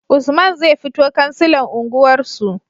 Usman zai fito kansilan unguwar su